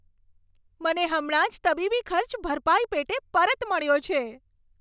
મને હમણાં જ તબીબી ખર્ચ ભરપાઈ પેટે પરત મળ્યો છે.